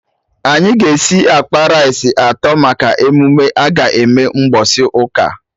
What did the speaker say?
Anyị ga esi akpa rice atọ maka emume aga eme mgbọsị ụka